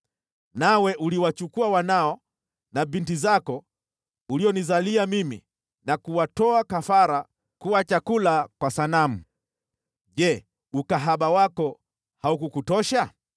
“ ‘Nawe uliwachukua wanao na binti zako ulionizalia mimi na kuwatoa kafara kuwa chakula kwa sanamu. Je, ukahaba wako haukukutosha?